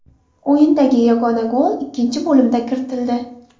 O‘yindagi yagona gol ikkinchi bo‘limda kiritildi.